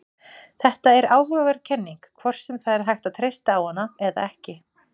Þetta er áhugaverð kenning, hvort sem það er hægt að treysta á hana eða ekki.